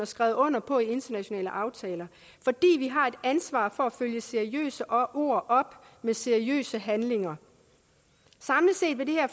skrevet under på i internationale aftaler fordi vi har et ansvar for at følge seriøse ord op med seriøse handlinger samlet set vil det her